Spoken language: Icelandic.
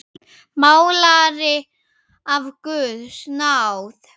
Málari af guðs náð.